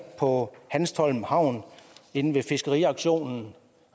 på hanstholm havn inde på fiskeriauktionen